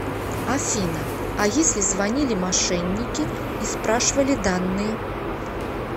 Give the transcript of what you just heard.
афина а если звонили мошенники и спрашивали данные